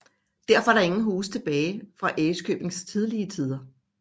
Derfor er der ingen huse tilbage fra Ærøskøbings tidlige tider